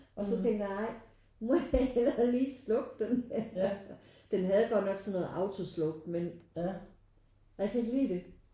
Og så tænkte jeg nej nu må jeg heller lige slukke den. Den havde godt nok sådan noget autosluk men jeg kan ikke lide det